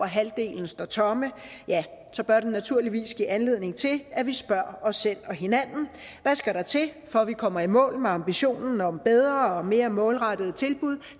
halvdelen står tomme bør det naturligvis give anledning til at vi spørger os selv og hinanden hvad skal der til for at vi kommer i mål med ambitionen om bedre og mere målrettede tilbud